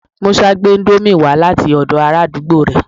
Musa gbe Indomie wa lati odo ara àdúgbò re